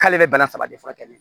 K'ale bɛ bana saba de furakɛ ne la